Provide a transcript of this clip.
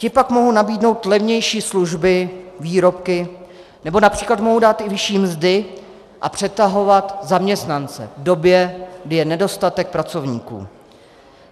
Ti pak mohou nabídnout levnější služby, výrobky nebo například mohou dát i vyšší mzdy a přetahovat zaměstnance v době, kdy je nedostatek pracovníků.